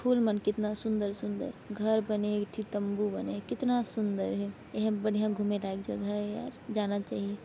फूल मन कितना सुंदर-सुंदर घर बने एक ठी तंबू बने कितना सुंदर हे ये हा बढ़िया घूमे लायक जगह है यार जाना चहिए।